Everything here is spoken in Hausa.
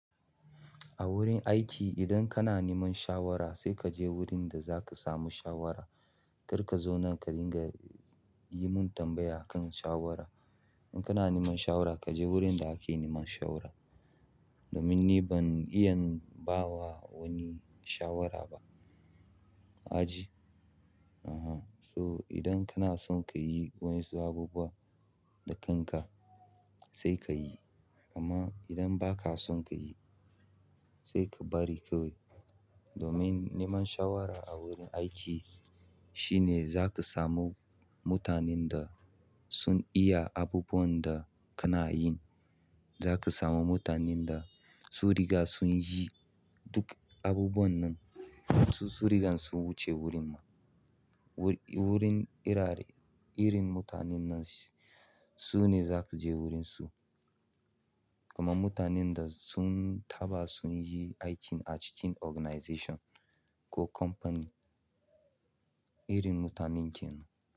A wurin aiki idan kana neman shawara sai kaje wurin da zaka samu shawara. Kar kazo nan ka ringa yi mun tambaya kan shawara. In kana neman shawara kaje wurin da ake neman shawara. Domin ni ban iya ba wa wani shawara ba. Kaji? Uhum, so idan kanason kayi waƴansu abubuwa da kanka sai kayi amma idan ba ka son ka yi sai ka bari kawai. Domin neman shawara a wurin aiki shine zaka samu mutanen da sun iya abubuwan da kana yin. Za ka samu mutanen da su riga sun yi duk abubuwan nan, su sun riga sun wuce wurin ma. Wurin, wurin irare, irin mutanen nan su ne za kaje wurin su. Kamar mutanen da sun taɓa sun yi aikin a cikin organization ko company. Irin mutanen kenan.